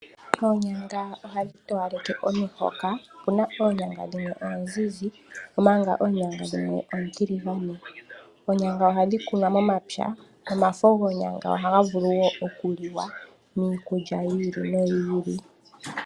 Oonyanga ohadhi towaleke omihoka. Opuna oonyanga dhimwe oonzinzi, omanga oonyanga dhimwe oontiligane. Oonyanga ohadhi kunwa momapya nomafo gonyanga ohaga vulu wo oku liwa miikulya yi ili noyi ili.